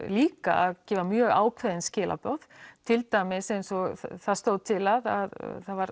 líka að gefa mjög ákveðin skilaboð til dæmis eins og það stóð til að það var